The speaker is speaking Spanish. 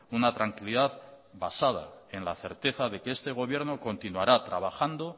una tranquilidad basada en la certeza de que este gobierno continuará trabajando